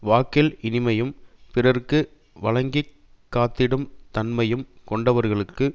வாக்கில் இனிமையும் பிறர்க்கு வழங்கிக் காத்திடும் தன்மையும் கொண்டவர்கலுக்கு